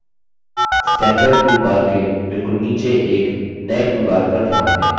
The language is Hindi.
standard toolbar के बिलकुल नीचे एक नये toolbar पर ध्यान दें